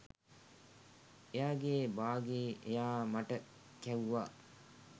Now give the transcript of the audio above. එයාගේ බාගේ එයා මට කැව්වා!